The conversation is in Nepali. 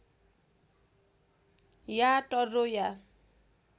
या टर्रो या